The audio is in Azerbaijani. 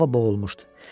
Hava boğulmuşdu.